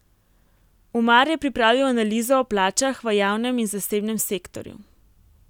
Umar je pripravil analizo o plačah v javnem in zasebnem sektorju.